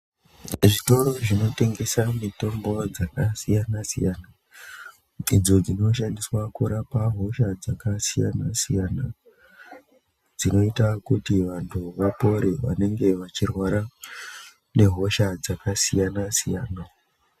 Zvitoro zvinotengesa mitombo dzakasiyana siyana idzo dzinoshandiswa kurapa hosha dzakasiyana siyana dzinoite kuti vantu vapore vanenga vachirwara nehosha dzakasiyana siyana.